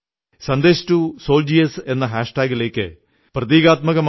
Sandesh to സോൾജിയേഴ്സെന്ന hash ടാഗിലേക്ക് പ്രതീകാത്മകമായി അളവറ്റ കാര്യങ്ങളാണെത്തിയത്